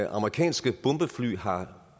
amerikanske bombefly har